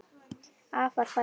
Afar falleg verk.